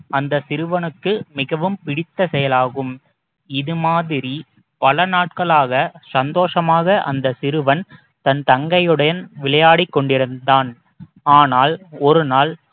அந்த சிறுவனுக்கு மிகவும் பிடித்த செயலாகும் இது மாதிரி பல நாட்களாக சந்தோஷமாக அந்த சிறுவன் தன் தங்கையுடன் விளையாடிக் கொண்டிருந்தான் ஆனால் ஒரு நாள்